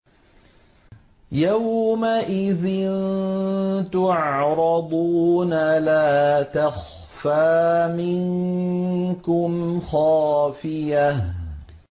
يَوْمَئِذٍ تُعْرَضُونَ لَا تَخْفَىٰ مِنكُمْ خَافِيَةٌ